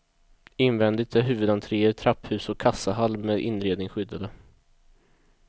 Invändigt är huvudentréer, trapphus och kassahall med inredning skyddade.